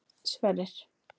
Sverrir